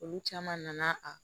Olu caman nana a